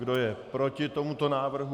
Kdo je proti tomuto návrhu?